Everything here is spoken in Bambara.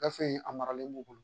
Gafe in a maralen b'u bolo